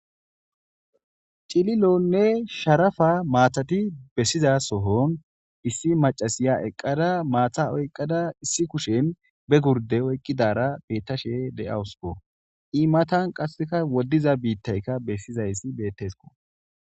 Cilonne sharapa matati besiza sohon iss macasaya eqada mata oykada issi kushen be gurde oykidara betashe d'askko e matan qaseka wodiza bita bisizays beteskko